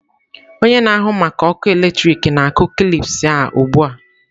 Onye na-ahụ maka ọkụ eletrik na-akụ kilips a ugbu a.